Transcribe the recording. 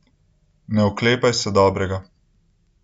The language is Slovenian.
Ne oklepaj se dobrega.